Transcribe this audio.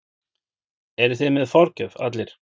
Eruð þið með forgjöf allir?